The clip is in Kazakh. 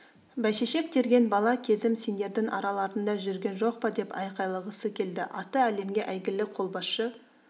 бәйшешек терген бала кезім сендердің араларыңда жүрген жоқ па деп айқайлағысы келді аты әлемге әйгілі қолбасшы